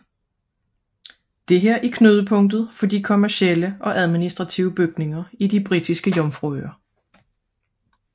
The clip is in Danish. Dette er knudepunktet for de nye kommercielle og administrative bygninger i de Britiske Jomfruøer